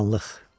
Qaranlıq.